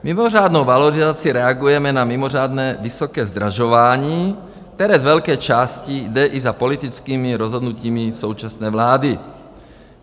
Mimořádnou valorizací reagujeme na mimořádně vysoké zdražování, které z velké části jde i za politickými rozhodnutími současné vlády.